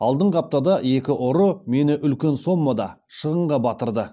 алдыңғы аптада екі ұры мені үлкен соммада шығынға батырды